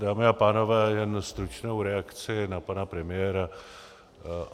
Dámy a pánové, jen stručnou reakci na pana premiéra.